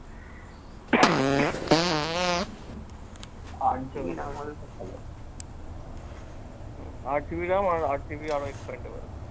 আট GB ram হলে তো ভালো। আট GB ram আর আট GB expandable